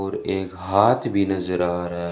और एक हाथ भी नजर आ रहा--